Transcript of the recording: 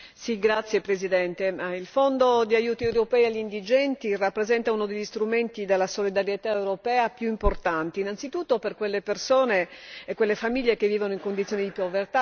Il Fondo di aiuti europei agli indigenti rappresenta uno degli strumenti della solidarietà europea più importanti, innanzitutto per quelle persone e quelle famiglie che vivono in condizioni di povertà naturalmente l'on.